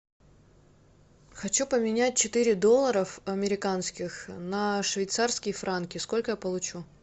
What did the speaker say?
хочу поменять четыре долларов американских на швейцарские франки сколько я получу